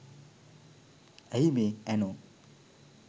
ඇයි මේ ඇනෝ